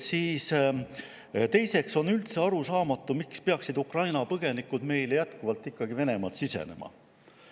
Teiseks on üldse arusaamatu, miks peaksid Ukraina põgenikud meile jätkuvalt ikkagi Venemaalt sisenema.